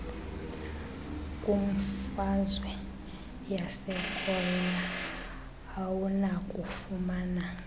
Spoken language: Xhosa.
kwimfazwe yasekorea awunakufumana